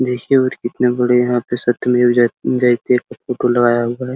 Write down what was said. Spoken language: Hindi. देखिए और कितने बड़े यहाँ पे सत्य मेव जय जयते का फोटो लगाया हुआ है।